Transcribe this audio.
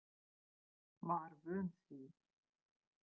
Víkið fyrir mér.